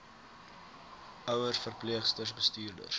ouers verpleegsters bestuurders